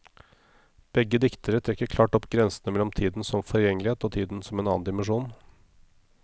Begge diktere trekker klart opp grensene mellom tiden som forgjengelighet og tiden som en annen dimensjon.